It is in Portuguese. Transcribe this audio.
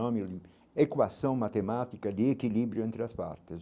É equação matemática de equilíbrio entre as partes.